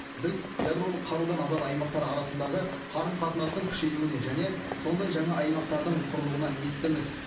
біз ядролық қарудан азат аймақтар арасындағы қарым қатынастың күшеюіне және сондай жаңа аймақтардың құрылуына ниеттіміз